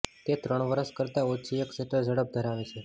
તે ત્રણ વર્ષ કરતાં ઓછી એક શટર ઝડપ ધરાવે છે